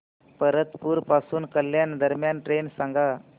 परतूर पासून कल्याण दरम्यान ट्रेन सांगा